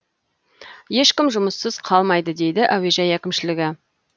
ешкім жұмыссыз қалмайды дейді әуежай әкімшілігі